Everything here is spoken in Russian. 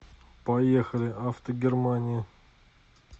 поехали автогермания